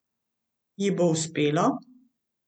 Ji bo uspelo?